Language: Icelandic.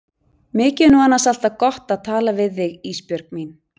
Mikið er nú annars alltaf gott að tala við þig Ísbjörg mín.